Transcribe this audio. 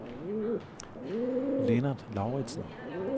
Lennart Lauritsen